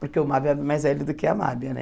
Porque o Mábio é mais velho do que a Mábia, né?